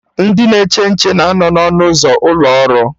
Ndị na-eche nche na anọ na ọnụ ụzọ ụlọ ọrụ